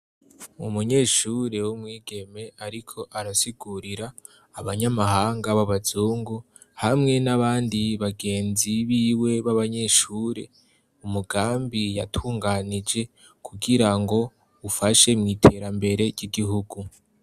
Umunyeshure w' umwigeme ariko arasigurira abanyamahanga b'abazungu hamwe n'abandi bagenzi b'iwe b'abanyeshure, umugambi yatunganije kugira ngo ufashe mw'iterambere ry'igihugu.